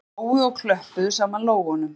Þau hlógu og klöppuðu saman lófunum